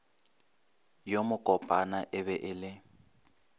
yo mokopana e ba le